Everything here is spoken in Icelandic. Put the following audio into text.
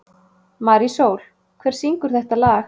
Marísól, hver syngur þetta lag?